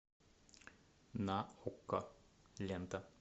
на окко лента